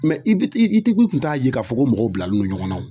Mɛ i bi i ti i kun t'a ye k'a fɔ ko mɔgɔw bilalen don ɲɔgɔn na wo